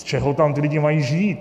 Z čeho tam ti lidé mají žít?